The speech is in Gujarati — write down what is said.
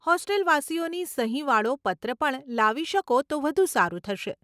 હોસ્ટેલવાસીઓની સહીવાળો પત્ર પણ લાવી શકો તો વધુ સારું થશે.